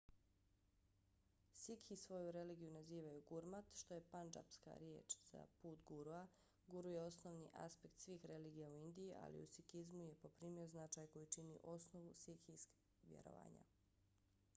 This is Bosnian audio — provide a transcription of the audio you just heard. sikhi svoju religiju nazivaju gurmat što je pandžapska riječ za put gurua . guru je osnovni aspekt svih religija u indiji ali u sikizmu je poprimio značaj koji čini osnovu sikhskih vjerovanja